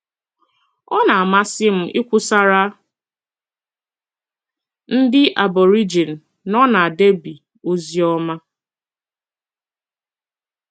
Ọ na - amasị m ikwusara ndị Aborigine nọ na Derby ozi ọma